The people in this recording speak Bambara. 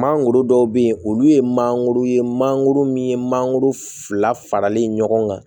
Mangoro dɔw bɛ yen olu ye manankoro ye mangoro min ye mangoro fila faralen ɲɔgɔn kan